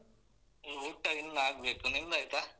ಊಟ ಇನ್ನಾಗ್ಬೇಕು ನಿಮ್ದಾಯ್ತಾ?